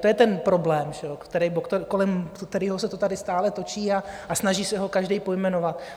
To je ten problém, kolem kterého se to tady stále točí, a snaží se ho každý pojmenovat.